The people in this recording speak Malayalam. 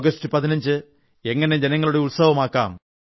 ആഗസറ്റ് 15 എങ്ങനെ ജനങ്ങളുടെ ഉത്സവമാകാം